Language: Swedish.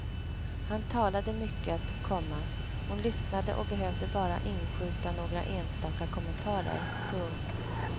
Han talade mycket, komma hon lyssnade och behövde bara inskjuta några enstaka kommentarer. punkt